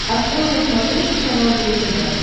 открой на смотрешке канал его тв